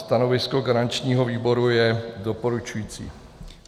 Stanovisko garančního výboru je doporučující.